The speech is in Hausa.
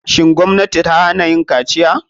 Shin gwamnati ta hana yin kaciya?